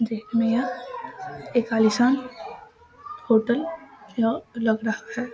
देखने में यह एक आलीशान होटल यह लग रहा है।